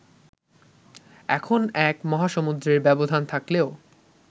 এখন এক মহাসমুদ্রের ব্যবধান থাকলেও